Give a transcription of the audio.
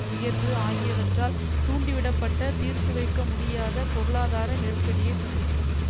உயர்வு ஆகியவற்றால் தூண்டிவிடப்பட்ட தீர்த்துவைக்க முடியாத பொருளாதார நெருக்கடியை சந்திக்கும்